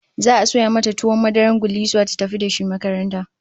Za'a sayo mata tuwon madarar gullisuwa ta tafi da shi makaranta